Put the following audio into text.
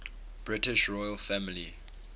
british royal family